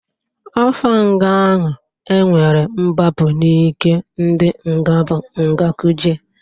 Afa nga ahụ e nwere mgbapụ n'ike ndị nga bụ nga Kuje.